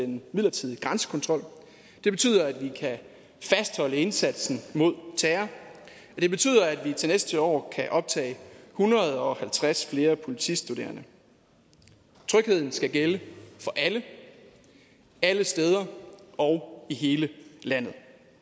den midlertidige grænsekontrol det betyder at vi kan fastholde indsatsen mod terror og det betyder at vi til næste år kan optage en hundrede og halvtreds flere politistuderende trygheden skal gælde for alle alle steder og i hele landet